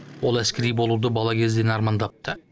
ол әскери болуды бала кезден армандапты